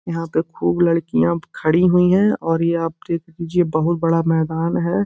यहां पे खूब लड़कियां खड़ी हुई हैं और ये आप देख लीजिए बहुत बड़ा मैदान है।